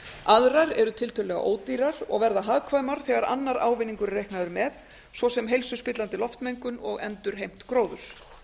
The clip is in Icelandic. aðrar eru tiltölulega ódýrar og verða hagkvæmar þegar annar ávinningur er reiknaður með svo sem heilsuspillandi loftmengun og endurheimt gróðurs